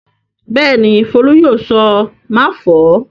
Bẹ́ẹ̀ ni, Folú yóò sọ "máfọ̀ọ́".